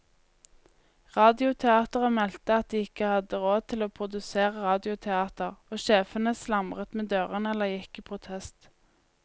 Radioteateret meldte at de ikke hadde råd til å produsere radioteater, og sjefene slamret med dørene eller gikk i protest.